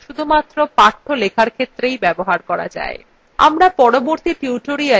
আমরা পরবর্তী tutorialswe এইগুলির সম্পর্কে আলোচনা করবো